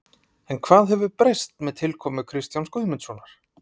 En hvað hefur breyst með tilkomu Kristjáns Guðmundssonar?